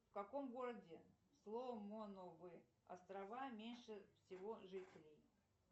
в каком городе соломоновы острова меньше всего жителей